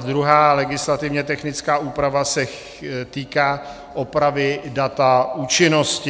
druhá legislativně technická úprava se týká opravy data účinnosti.